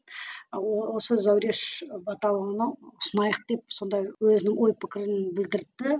осы зауреш баталованы ұсынайық деп сондай өзінің ой пікірін білдіртті